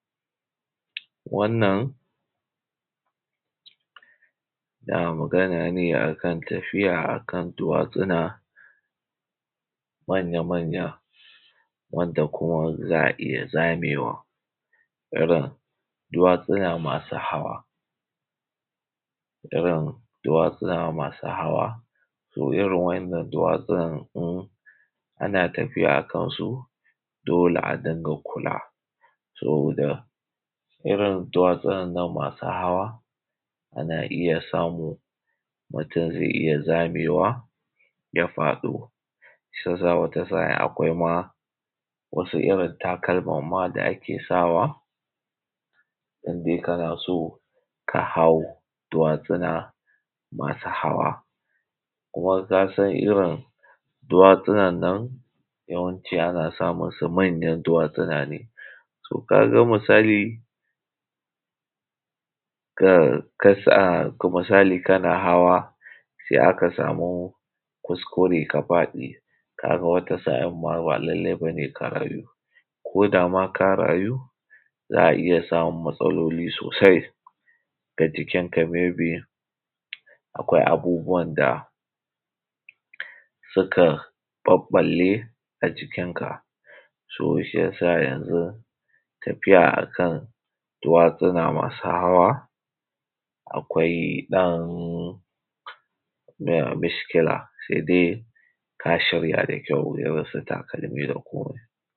Wannan na magana ne akan tafiya akan duwatsuna manya-manya wanda kuma za a iya zamewa, irin duwatsuna masu hawa, irin duwatsuna masu hawa. To irin wa’innan duwatsunan in ana tafiya akansu dole a dinga kula, saboda irin duwatsunan nan masu hawa, ana iya samu, mutum zai iya zamewa ya faɗo. Shiyasa wata sa’in akwai ma irin takalman ma da ake sawa, indai kana so ka hau duwatsuna masu hawa. Kuma ka san irin duwatsunan nan yawanci ana samun su manyan duwatsuna ne, so ka ga misali ka sa, misali kana hawa, sai aka samu kuskure ka faɗi, ka ga wata sa’in ma ba lallai bane ka rayu, ko da ma ka rayu za a iya samun matsaloli sosai, ga jikinka may be akwai abubuwan da suka ɓaɓɓalle a jikinka. So shiyasa yanzu tafiya akan duwatsuna masu hawa akwai ɗan mishkila, sai dai ka shirya da kyau irinsu takalmi da komai.